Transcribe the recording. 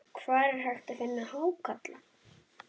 Hvar er hægt að finna hákarla?